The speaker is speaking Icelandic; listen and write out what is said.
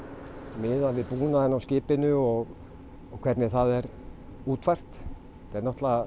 miðað við búnaðinn á skipinu og hvernig það er útfært þetta er náttúrulega